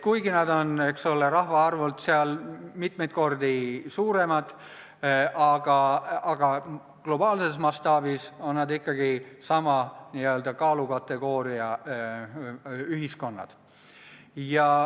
Kuigi nad on, eks ole, rahvaarvult mitmeid kordi suuremad, on nad globaalses mastaabis ikkagi sama n-ö kaalukategooria ühiskonnad.